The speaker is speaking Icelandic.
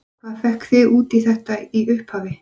Hvað fékk þig út í þetta í upphafi?